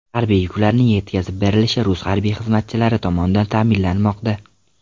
Harbiy yuklarning yetkazib berilishi rus harbiy xizmatchilari tomonidan ta’minlanmoqda.